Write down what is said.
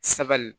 Saga